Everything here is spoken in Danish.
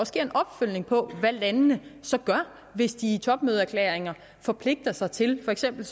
sker en opfølgning på hvad landene så gør hvis de i topmødeerklæringer forpligtiger sig til for eksempel